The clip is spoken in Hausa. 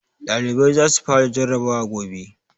ɗalibai za su fara jarrabawa gobe